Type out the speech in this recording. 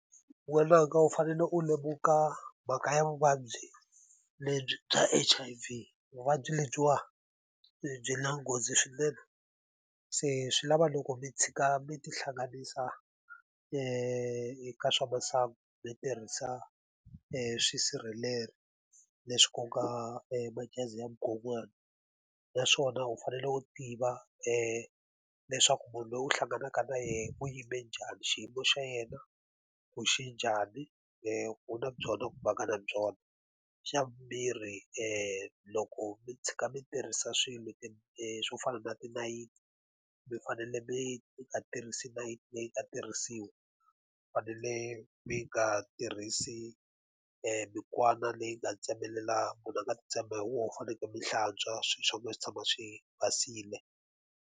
N'wananga u fanele u lemuka mhaka ya vuvabyi lebyi bya H_I_V, vuvabyi lebyiwa byi na nghozi swinene. Se swi lava loko mi tshika mi tihlanganisa eka swa masangu mi tirhisa e swisirhelelo leswi ku nga majaziyamukonwana. Na swona u fanele u tiva leswaku munhu loyi u hlanganaka na yena u yime njhani, xiyimo xa yena ku xi njhani, ku u na byona kumbe a nga na byona. Xa vumbirhi loko mi tshuka mi tirhisa swilo swo fana na tinayiti, mi fanele mi mi nga tirhisi nayiti leyi nga tirhisiwa, mi fanele mi nga tirhisi mikwana leyi nga tsemelela munhu a nga ti tsema hi wona. Mi fanekele mi hlantswa swilo swa n'wina swi tshama swi basile.